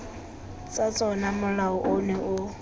tsa tsona molao ono o